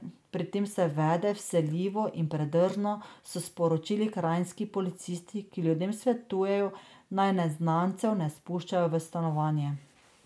Pri tem se vede vsiljivo in predrzno, so sporočili kranjski policisti, ki ljudem svetujejo, naj neznancev ne spuščajo v stanovanje.